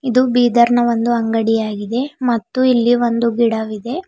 ಇದು ಬೀದರ್ನ ಒಂದು ಅಂಗಡಿ ಆಗಿದೆ ಮತ್ತು ಇಲ್ಲಿ ಒಂದು ಗಿಡವಿದೆ.